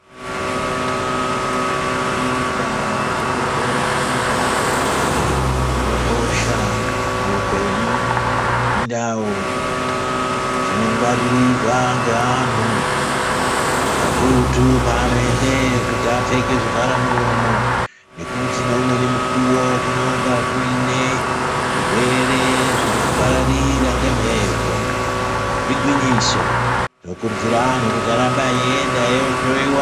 Kirinika nezvibhedhleya indau dzinokosha muupenyu indau dzinohwaririrwa ngeantu akurutu paanoendeyo kuti apfeke zvivharamuromo nekuti ngeumweni mukuwo kunonga kuine zvirwere zviri kupararira ngembepo, igwinyiso tinokurudzira antu kuti arambe achienda eindohloyiwa.